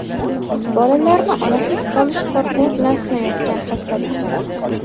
bolalarni onasiz qolish qo‘rquvi bilan sinayotgan xastalik.